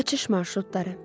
Qaçış marşrutları.